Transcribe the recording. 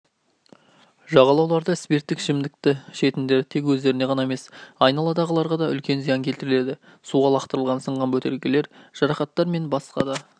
жағалауларда спирттік ішімдікті ішетіндер тек өздеріне ғана емес айналадағыларға да үлкен зиян келтіреді суға лақтырылған сынған бөтелкелер жарақаттар мен басқа да